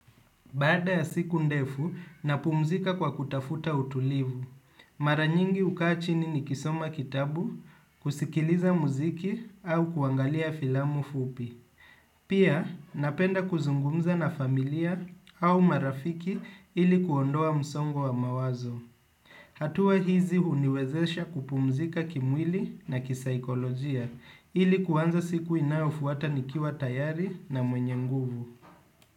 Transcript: Baada ya siku ndefu, napumzika kwa kutafuta utulivu. Mara nyingi hukaa chini nikisoma kitabu, kusikiliza muziki au kuangalia filamu fupi. Pia, napenda kuzungumza na familia au marafiki ili kuondoa msongo wa mawazo. Hatua hizi huniwezesha kupumzika kimwili na kisaikolojia ili kuanza siku inayofuata nikiwa tayari na mwenye nguvu.